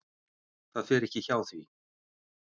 Það fer ekki hjá því.